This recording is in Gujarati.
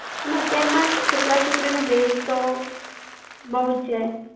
ના અત્યાર માં છોકરા છોકરીઓનો બૈર તો બોવ છે.